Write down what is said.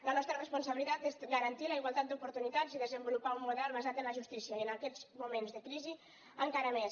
la nostra responsabilitat és garantir la igualtat d’oportunitats i desenvolupar un model basat en la justícia i en aquests moments de crisi encara més